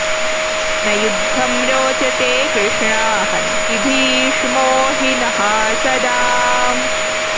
न युद्धं रोचते कृष्ण हन्ति भीष्मो हि नः सदा